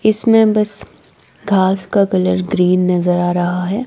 इसमे बस घास का कलर ग्रीन नजर आ रहा है।